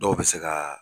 Dɔw bɛ se ka